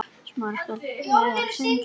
Er hægt að toppa það?